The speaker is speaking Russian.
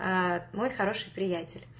аа мой хороший приятель